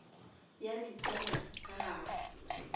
ya di tsenya ka gare